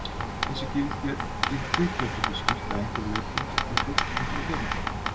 Þessi gildi gætu því skýrt að einhverju leyti af hverju fólk gengur í hjónaband.